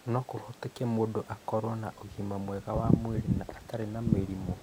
No kũhoteke mũndũ akorũo na ũgima mwega wa mwĩrĩ na atarĩ na mĩrimũ.